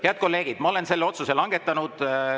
Head kolleegid, ma olen selle otsuse langetanud.